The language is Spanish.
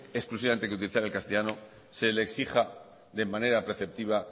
tiene exclusivamente que utilizar el castellano se le exija de manera preceptiva